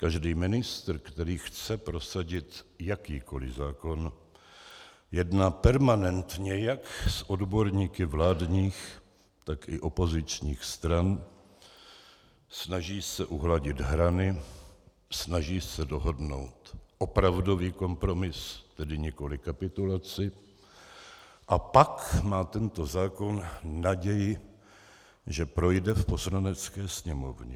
Každý ministr, který chce prosadit jakýkoliv zákon, jedná permanentně jak s odborníky vládních, tak i opozičních stran, snaží se uhladit hrany, snaží se dohodnout opravdový kompromis, tedy nikoliv kapitulaci, a pak má tento zákon naději, že projde v Poslanecké sněmovně.